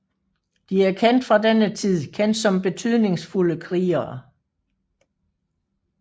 De er fra denne tid kendt som betydningsfulde krigere